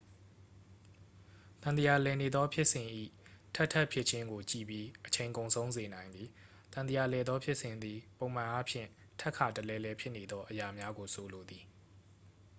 သံသရာလည်နေသော ဖြစ်စဉ်၏ ထပ်ထပ်ဖြစ်ခြင်းကို ကြည့်ပြီး အချိန်ကုန်ဆုံးစေနိုင်သည် သံသရာလည်သော ဖြစ်စဉ်သည် ပုံမှန်အားဖြင့်ထပ်ခါတလဲလဲဖြစ်နေသော အရာများကိုဆိုလိုသည်